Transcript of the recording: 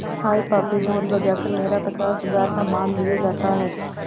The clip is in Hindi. हाय पापी ढोल बजा कर मेरा पचास हजार का माल लिए जाता है